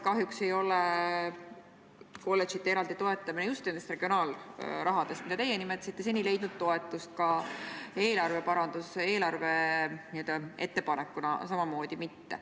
Kahjuks ei ole kolledžite eraldi toetamine regionaalsummadest, mida teie nimetasite, seni heakskiitu leidnud, ka eelarveettepanekuna mitte.